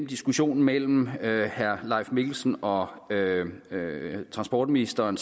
diskussionen mellem herre leif mikkelsen og transportministeren